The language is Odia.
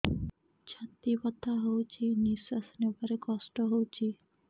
ଛାତି ବଥା ହଉଚି ନିଶ୍ୱାସ ନେବାରେ କଷ୍ଟ ହଉଚି